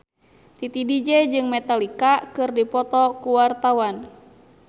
Titi DJ jeung Metallica keur dipoto ku wartawan